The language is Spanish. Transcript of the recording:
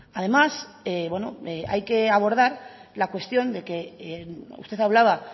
además hay que abordar la cuestión de que usted hablaba